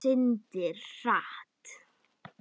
Syndir hratt.